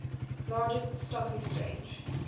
largest stock exchange